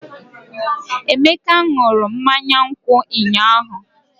Emeka ṅụrụ mmanya nkwụ ụnyahụ?